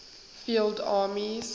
field armies